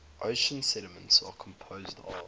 ocean sediments are composed of